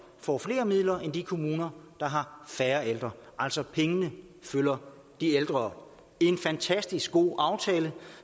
får flere midler end de kommuner der har færre ældre altså pengene følger de ældre det er en fantastisk god aftale